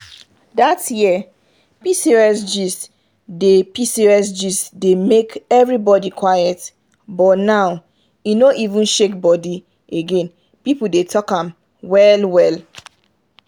dat year pcos gist dey pcos gist dey make everybody quiet buh now e no even shake body again people dey talk am well well.